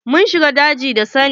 Mun shiga jeji da Sani.